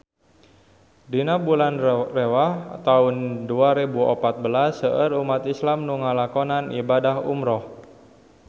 Dina bulan Rewah taun dua rebu opat belas seueur umat islam nu ngalakonan ibadah umrah